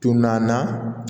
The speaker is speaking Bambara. Tunnan na